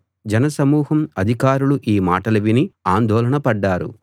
జనసమూహం అధికారులూ ఈ మాటలు విని ఆందోళనపడ్డారు